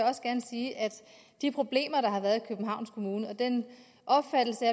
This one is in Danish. også gerne sige at de problemer der har været i københavns kommune og den opfattelse